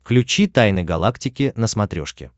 включи тайны галактики на смотрешке